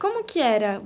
Como que era?